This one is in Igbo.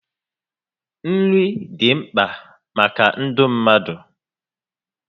Nri dị mkpa maka ndụ mmadụ